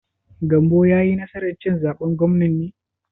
Gambo ya yi nasar cin zaben gwamnan ne?